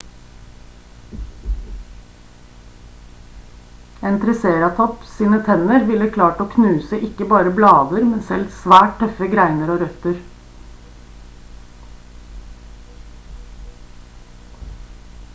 en triceratops sine tenner ville ha klart å knuse ikke bare blader men selv svært tøffe greiner og røtter